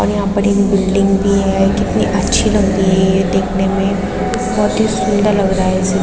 और यहाँ पड़ एक बिल्डिंग भी है कितनी अच्छी लग रही है ये देखने में बोहोत ही सुंदर लग रहा है इसे --